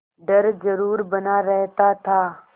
डर जरुर बना रहता था